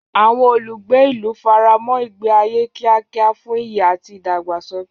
Àwọn olùgbé ìlú faramọ́ ìgbé ayé kíákíá fún ìyè àti ìdàgbàsókè.